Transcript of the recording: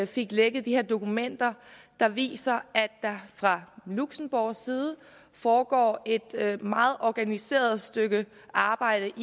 fik lækket de her dokumenter der viser at der fra luxembourgs side foregår et meget organiseret stykke arbejde